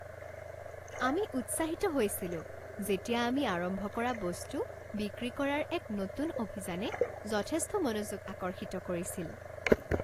আমি উৎসাহিত হৈছিলোঁ যেতিয়া আমি আৰম্ভ কৰা বস্তু বিক্ৰী কৰাৰ এক নতুন অভিযানে যথেষ্ট মনোযোগ আকৰ্ষিত কৰিছিল।